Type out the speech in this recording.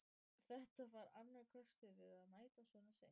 Þetta var annar kostur við að mæta svona seint.